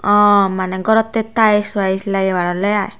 aa mane gorote tiles viles lagebar ole aai.